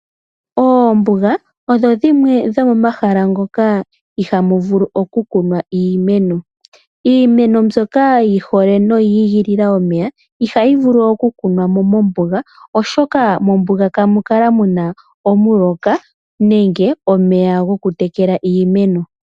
Oombuga odho dhimwe dhomomahala ngoka ihaamu vulu okukunwa iimeno. Iimeno mbyoka yi hole noyigilila omeya i hayi vulu okukunwa mo mombuga, oshoka mombuga kamu kala mu na omuloka nenge omeya gokutekela iimeno.